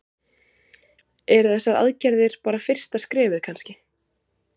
Eru þessar aðgerðir bara fyrsta skrefið kannski?